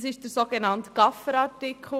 Das ist der sogenannte Gaffer-Artikel.